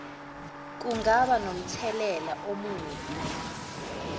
kungaba nomthelela omubi